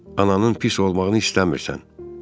Ananın pis olmağını istəmirsən?